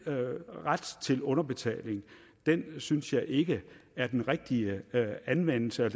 ret til underbetaling synes jeg ikke er den rigtige anvendelse